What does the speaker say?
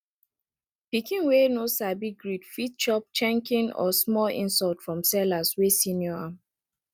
pikin wey no sabi greet fit chop shenkin or small insult from sellers wey senior am